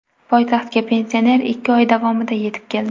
Poytaxtga pensioner ikki oy davomida yetib keldi.